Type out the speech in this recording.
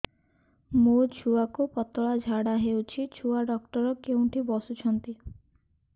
ମୋ ଛୁଆକୁ ପତଳା ଝାଡ଼ା ହେଉଛି ଛୁଆ ଡକ୍ଟର କେଉଁଠି ବସୁଛନ୍ତି